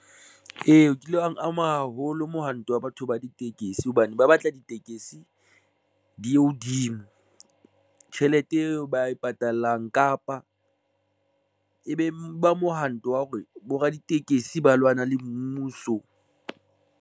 Ee, kile ha ama haholo mohanto wa batho ba ditekesi hobane ba batla ditekesi di ye hodimo tjhelete eo ba e patalang, kapa e be ba mohanto wa hore bo raditekesi ba lwana le mmuso.